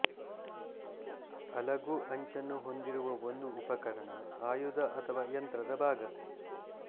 ಅಲಗು ಅಂಚನ್ನು ಹೊಂದಿರುವ ಒಂದು ಉಪಕರಣ ಆಯುಧ ಅಥವಾ ಯಂತ್ರದ ಭಾಗ